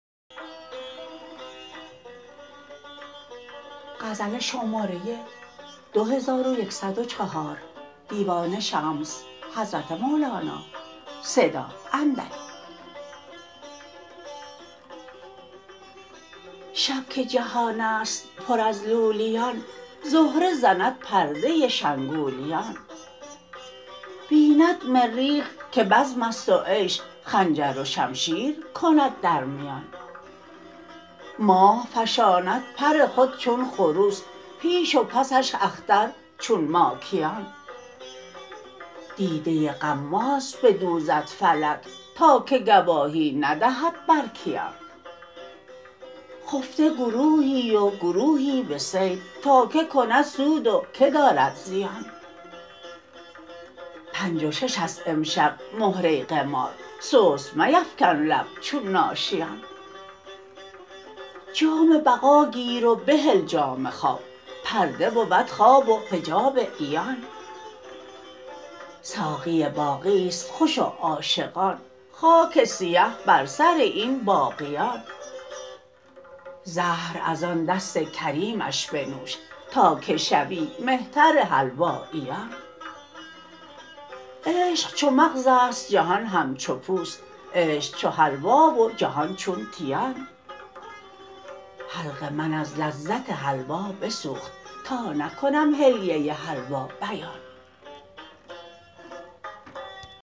شب که جهان است پر از لولیان زهره زند پرده شنگولیان بیند مریخ که بزم است و عیش خنجر و شمشیر کند در میان ماه فشاند پر خود چون خروس پیش و پسش اختر چون ماکیان دیده غماز بدوزد فلک تا که گواهی ندهد بر کیان خفته گروهی و گروهی به صید تا کی کند سود و کی دارد زیان پنج و شش است امشب مهره قمار سست میفکن لب چون ناشیان جام بقا گیر و بهل جام خواب پرده بود خواب و حجاب عیان ساقی باقی است خوش و عاشقان خاک سیه بر سر این باقیان زهر از آن دست کریمش بنوش تا که شوی مهتر حلواییان عشق چو مغز است جهان همچو پوست عشق چو حلوا و جهان چون تیان حلق من از لذت حلوا بسوخت تا نکنم حلیه حلوا بیان